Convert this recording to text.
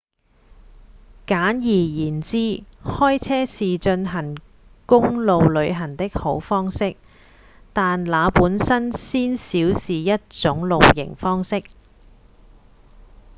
簡而言之開車是進行公路旅行的好方式但那本身鮮少是一種「露營」方式